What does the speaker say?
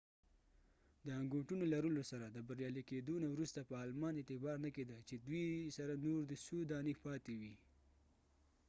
د انګوټونو لرلو سره د بریالی کېدو نه وروسته په آلمان اعتبار نه کېده چې دوي سره دي نور څو دانی پاتی وي